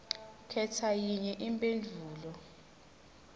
khetsa yinye kuletimphendvulo